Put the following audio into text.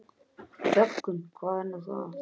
Þöggun, hvað er nú það?